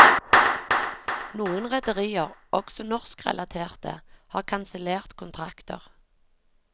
Noen rederier, også norskrelaterte, har kansellert kontrakter.